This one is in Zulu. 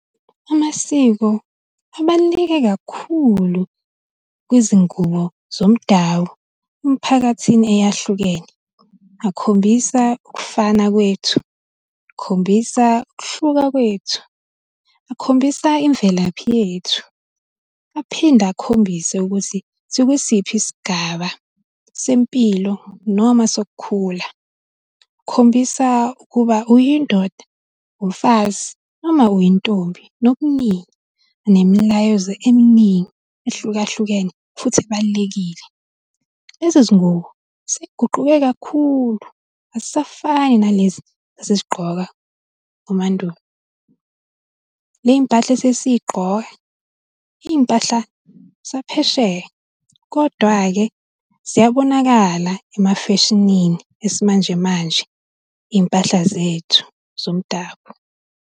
Amasiko abaluleke kakhulu kwizingubo zomdabu emiphakathini eyahlukene. Akhombisa ukufana kwethu, akhombisa ukuhluka kwethu, akhombisa imvelaphi yethu, aphinde akhombise ukuthi sikwi siphi isigaba sempilo noma sokukhula. Akhombisa ukuba uyindoda, umfazi noma uyintombi nokuningi, nemilayezo eminingi ehlukahlukene futhi ebalulekile. Lezi zingubo sey'guquke kakhulu, azisafani nalezi ezazigqokwa emandulo. Ley'mpahla esesiy'gqoka, iy'mpahla zaphesheya, kodwa-ke ziyabonakala emafeshinini esimanjemanje iy'mpahla zethu zomdabu.